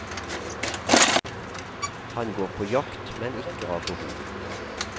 Han går på jakt, men ikke av behov.